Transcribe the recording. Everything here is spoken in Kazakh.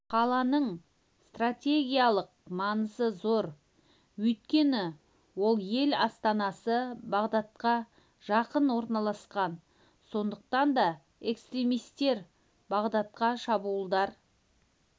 қаланың стратегиялық маңызы зор өйткені ол ел астанасы бағдатқа жақын орналасқан сондықтан да экстремистер бағдатқа шабуылдар